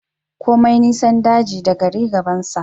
Komai nisan daji da gari gabansa